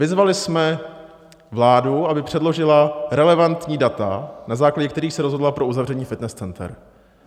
Vyzvali jsme vládu, aby předložila relevantní data, na základě kterých se rozhodla pro uzavření fitness center.